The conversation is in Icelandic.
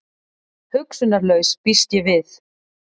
Hugsunarlaus, býst ég við.